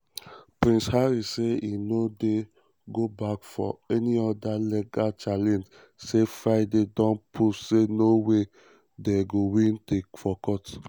prince harry say e no dey go back for any oda legal challenge say "friday don prove say no way dey to win for courts".